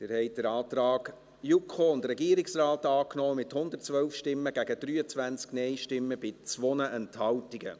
Sie haben den Antrag JuKo und Regierung angenommen, mit 112 Ja- gegen 23 NeinStimmen bei 2 Enthaltungen.